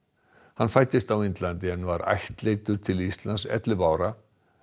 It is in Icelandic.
hann fæddist á Indlandi en var ættleiddur til Íslands ellefu ára